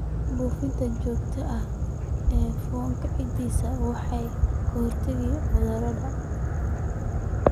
Buufinta joogtada ah ee fungicides waxay ka hortagtaa cudurada.